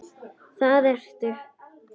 Það ertu.